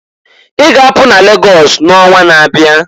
I ga-apụ n'Lagọs n'onwa n'abịa!"